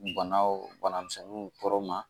Banaw banamisɛnninw tɔɔrɔ ma